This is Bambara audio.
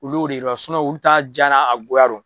Olu de don olu t'a ja n'a goya dɔn.